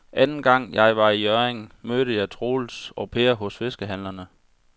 Anden gang jeg var i Hjørring, mødte jeg både Troels og Per hos fiskehandlerne.